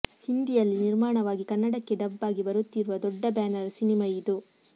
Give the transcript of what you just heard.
ಹಿಂದಿಯಲ್ಲಿ ನಿರ್ಮಾಣವಾಗಿ ಕನ್ನಡಕ್ಕೆ ಡಬ್ ಆಗಿ ಬರುತ್ತಿರುವ ದೊಡ್ಡ ಬ್ಯಾನರ್ ಸಿನಿಮಾ ಇದು